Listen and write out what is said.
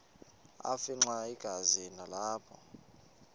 afimxa igazi nalapho